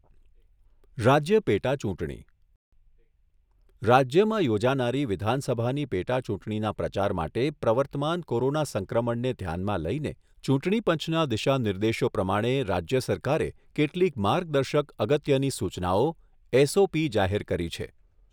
રાજ્ય પેટા ચુંટણી રાજ્યમાં યોજાનારી વિધાનસભાની પેટા ચૂંટણીના પ્રચાર માટે પ્રવર્તમાન કોરોના સંક્રમણને ધ્યાનમાં લઇને ચૂંટણીપંચના દિશાનિર્દેશો પ્રમાણે રાજ્ય સરકારે કેટલીક માર્ગદર્શક અગત્યની સૂચનાઓ એસઓપી જાહેર કરી છે.